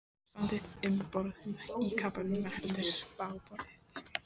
Ástandið um borð í kafbátnum var heldur bágborið.